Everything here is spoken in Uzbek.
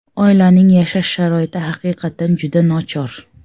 Oilaning yashash sharoiti haqiqatan juda nochor.